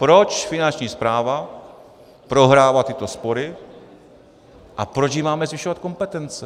Proč Finanční správa prohrává tyto spory a proč jí máme zvyšovat kompetence.